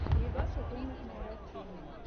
передача комнатные растения